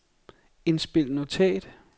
indspil notat